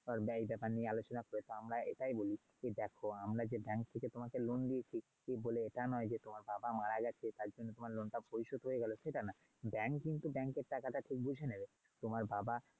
এই ব্যাপার নিয়ে আলোচনা করে তো আমরা এটাই বলি যে দেখো আমরা যে bank থেকে তোমাকে l loan দিয়েছি সেই বলে এটা নয় যে তোমার বাবা মারা গেছে তার জন্য তোমার loan টা পরিশোধ হয়ে গেল সেটা নয়। bank কিন্তু bank এর টাকাটা ঠিক বুঝে নেবে। তোমার বাবা।